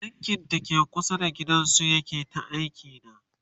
a bankin dake kusa da gidan su yake ta aiki da